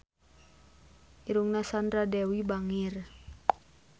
Irungna Sandra Dewi bangir